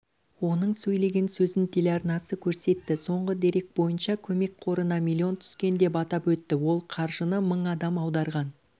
оның сөйлеген сөзін телеарнасы көрсетті соңғы дерек бойынша көмек қорына миллион түскен деп атап өтті ол қаржыны мың адам аударған